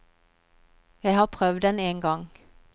Jeg har prøvd den en gang.